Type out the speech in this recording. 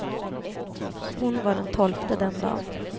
Hon var den tolfte den dan.